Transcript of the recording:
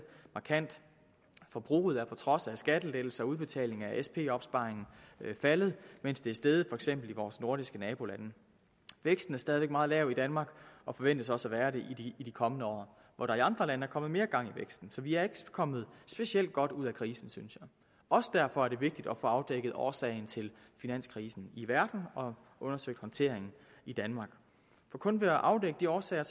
markant forbruget er på trods af skattelettelser og udbetaling af sp opsparingen faldet mens det er steget for eksempel i vores nordiske nabolande væksten er stadig væk meget lav i danmark og forventes også at være det i de kommende år hvor der i andre lande er kommet mere gang i væksten så vi er ikke kommet specielt godt ud af krisen synes jeg også derfor er det vigtigt at få afdækket årsagen til finanskrisen i verden og undersøgt håndteringen i danmark for kun ved at afdække de årsager